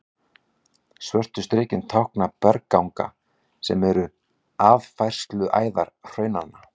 Svörtu strikin tákna bergganga, sem eru aðfærsluæðar hraunanna.